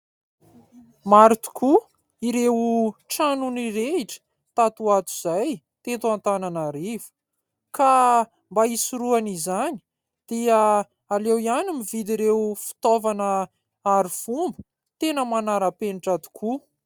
Maro tokoa ireo trano nirehitra tato ato izay teto Antananarivo ka mba hisoroana izany dia aleo ihany mividy ireo fitaovana arifomba tena manara-penitra tokoa.